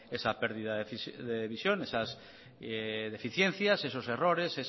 esa pérdida de visión esas deficiencias esos errores